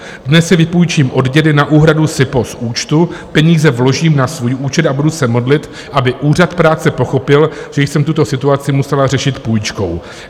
Dnes si vypůjčím od dědy na úhradu SIPO z účtu, peníze vložím na svůj účet a budu se modlit, aby Úřad práce pochopil, že jsem tuto situaci musela řešit půjčkou.